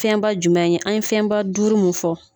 Fɛnba jumɛn ye, an ye fɛnba duuru mun fɔ.